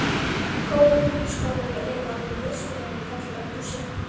Góðar vinnuskálar eru alveg nauðsynlegar í fallegu eldhúsi.